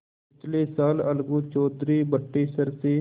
पिछले साल अलगू चौधरी बटेसर से